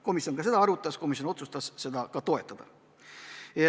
Komisjon seda arutas ja otsustas seda toetada.